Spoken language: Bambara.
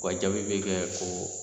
O ka jaabi bɛ kɛ ko